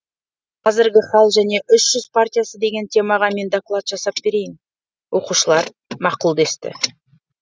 қазіргі хал және үш жүз партиясы деген темаға мен доклад жасап берейін оқушылар мақұл десті